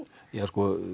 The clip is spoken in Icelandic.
ja það